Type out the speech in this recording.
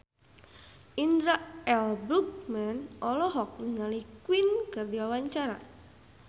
Indra L. Bruggman olohok ningali Queen keur diwawancara